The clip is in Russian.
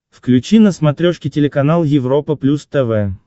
включи на смотрешке телеканал европа плюс тв